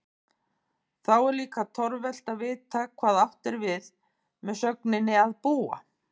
Þá er líka torvelt að vita hvað átt er við með sögninni að búa?